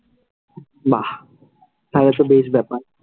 বাহ, তাহলে সব বেশ ব্যাপার।